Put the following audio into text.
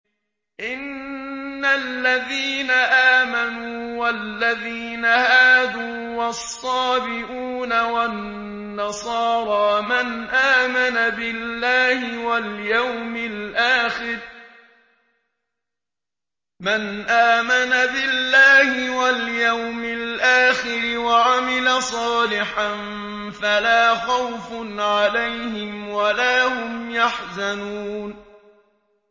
إِنَّ الَّذِينَ آمَنُوا وَالَّذِينَ هَادُوا وَالصَّابِئُونَ وَالنَّصَارَىٰ مَنْ آمَنَ بِاللَّهِ وَالْيَوْمِ الْآخِرِ وَعَمِلَ صَالِحًا فَلَا خَوْفٌ عَلَيْهِمْ وَلَا هُمْ يَحْزَنُونَ